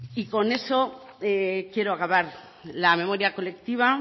y con eso quiero acabar la memoria colectiva